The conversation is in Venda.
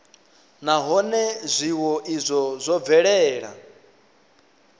nahone zwiwo izwo zwo bvelela